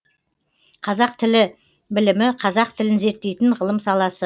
қазақ тілі білімі қазақ тілін зерттейтін ғылым саласы